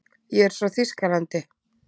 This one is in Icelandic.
Ég er frá Þýskalandi.